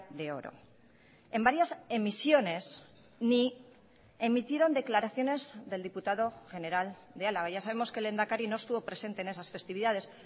de oro en varias emisiones ni emitieron declaraciones del diputado general de álava ya sabemos que el lehendakari no estuvo presente en esas festividades